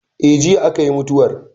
Eh, jiya a ka yi mutuwar